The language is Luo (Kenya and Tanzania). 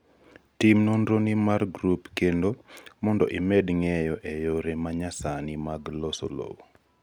tim nonroni mar grup kendo mondo imed ng'eyo e yore manyasani mag loso lowo